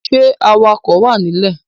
Ṣẹ́ awakọ wà ní ilẹ̀?